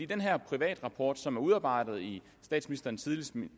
den her privatrapport som er udarbejdet i statsministerens